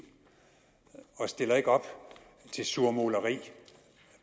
og stiller ikke op til surmuleri